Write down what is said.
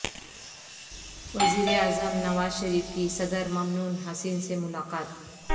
وزیراعظم نواز شریف کی صدر ممنون حسین سے ملاقات